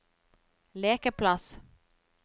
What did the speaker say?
lekeplass